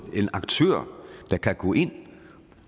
en aktør der kan gå ind